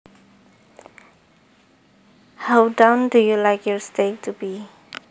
How done do you like your steak to be